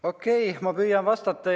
Okei, ma püüan vastata.